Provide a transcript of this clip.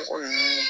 Mɔgɔ ninnu